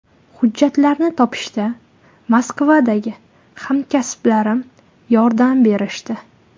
Hujjatlarni topishda Moskvadagi hamkasblarim yordam berishdi.